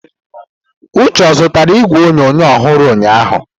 Uche ozụtara igwe onyonyo ọhụrụ ụnyahụ?